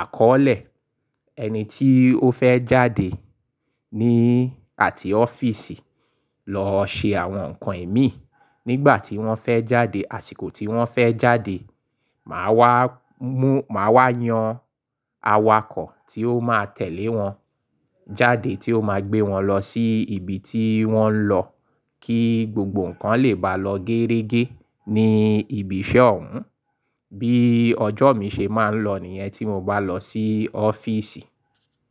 àkọ́ọ̀lẹ̀ ẹni tí ó fẹ́ jáde ní àti ọ́fíìsì lọ ṣe àwọn nǹkan èémí nígbà tí wọ́n fẹ́ jáde, àsìkò tí wọ́n fẹ́ jáde. Màá wá mú, màá wá yan awakọ̀ tí ó máa tẹ̀lé wọn jáde tí ó máa gbé wọn lọ sí ibi tí wọ́n ń lọ kí gbogbo nǹkan lè bá lọ géérégé ní ibi iṣẹ́ òun. Bí ọjọ́ mi ṣe máa ń lọ nìyẹn tí mo bá lọ sí ọ́fíìsì.